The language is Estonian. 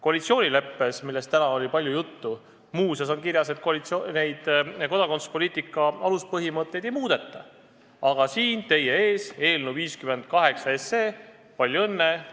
Koalitsioonileppes, millest täna oli palju juttu, muuseas on kirjas, et kodakondsuspoliitika aluspõhimõtteid ei muudeta, aga teie ees olev eelnõu 58 – palju õnne!